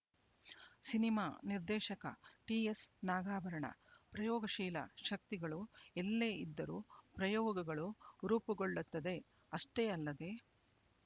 cinema ನಿರ್ದೇಶಕ ಟಿಎಸ್ನಾಗಾಭರಣ ಪ್ರಯೋಗಶೀಲ ಶಕ್ತಿಗಳು ಎಲ್ಲೇ ಇದ್ದರೂ ಪ್ರಯೋಗಗಳು ರೂಪಗೊಳ್ಳುತ್ತದೆಅಷ್ಟೇ ಅಲ್ಲದೆ